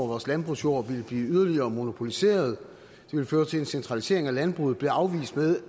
vores landbrugsjord ville blive yderligere monopoliseret og føre til en centralisering af landbruget blev afvist ved